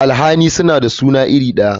Alhali suna da suna iri daya.